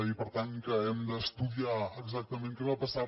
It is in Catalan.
i per tant que hem d’estudiar exactament què va passar